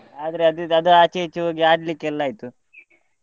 ಆದ್ರೆ ಅದು ಇದು ಅದು ಆಚೆ ಈಚೆ ಹೋಗಿ ಆಡ್ಲಿಕ್ಕೆ ಎಲ್ಲಾ ಆಯ್ತು.